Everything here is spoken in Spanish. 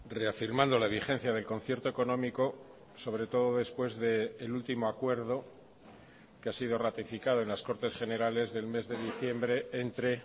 reafirmando la vigencia del concierto económico sobre todo después del último acuerdo que ha sido ratificado en las cortes generales del mes de diciembre entre